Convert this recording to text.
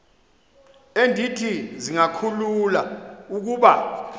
endithi zingakhulula ukuba